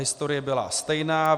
Historie byla stejná.